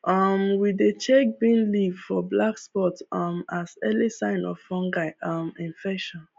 um we dey check bean leaves for black spots um as early signs of fungal um infection